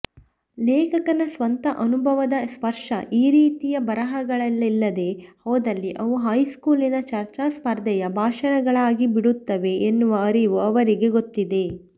ಲೇಖಕನ ಸ್ವಂತ ಅನುಭವದ ಸ್ಪರ್ಶ ಈರೀತಿಯ ಬರಹಗಳಲ್ಲಿಲ್ಲದೇ ಹೋದಲ್ಲಿ ಅವು ಹೈಸ್ಕೂಲಿನ ಚರ್ಚಾಸ್ಪರ್ಧೆಯ ಭಾಷಣಗಳಾಗಿಬಿಡುತ್ತವೆ ಎನ್ನುವ ಅರಿವು ಅವರಿಗೆ ಗೊತ್ತಿದೆ